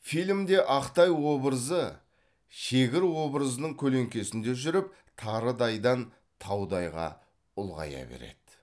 фильмде ақтай образы шегір образының көлеңкесінде жүріп тарыдайдан таудайға ұлғая береді